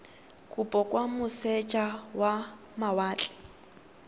kopo kwa moseja wa mawatle